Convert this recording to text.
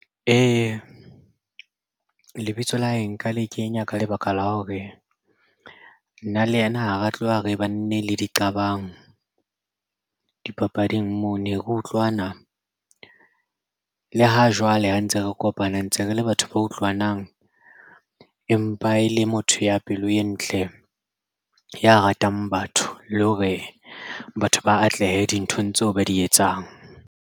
Lebitso la hae nka le kenya ka lebaka la hore nna le yena ha re tloha re bane le di qabang dipapading moo ne re utlwana le ha jwale ha ntse re kopana ntse re le batho ba utlwanang empa e le motho ya pelo e ntle ya ratang batho le hore batho ba atlehe dinthong tseo ba di etsang.